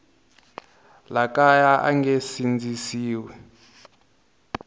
le kaya a nge sindzisiwi